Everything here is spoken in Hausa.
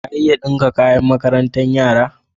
Ka iya ɗinka kayan makarantar yara?